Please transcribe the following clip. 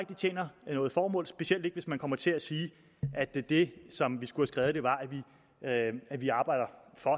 det tjener noget formål specielt ikke hvis man kommer til at sige at det det som vi skulle have skrevet var at vi arbejder for